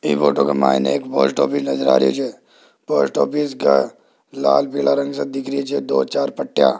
ए photo के मान्य एक पोस्ट ऑफिस नजर आ रही हैं। पोस्ट ऑफिस का लाल-पीला रंग सा दिख रही दो-चार पट्टियां --